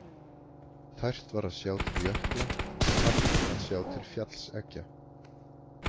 Tært var að sjá til jökla og hart að sjá til fjallseggja.